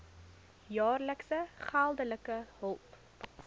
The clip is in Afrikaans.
jaar geldelike hulp